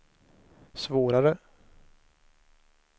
svårare